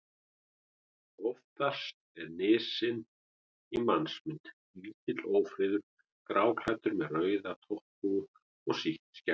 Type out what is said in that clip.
Oftast er nissinn í mannsmynd: Lítill, ófríður, gráklæddur með rauða topphúfu og sítt skegg.